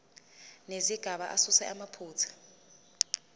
nezigaba asuse amaphutha